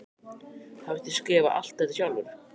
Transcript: Hafið þér skrifað alt þetta sjálfur?